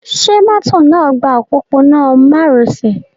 Ṣẹ mọ́tò náà gba òpópónà mároṣẹ̀?